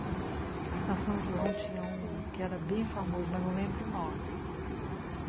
Na São João tinha um que era bem famoso, mas não lembro o nome.